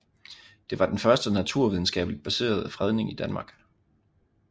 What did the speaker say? Det var den første naturvidenskabeligt baserede fredning i Danmark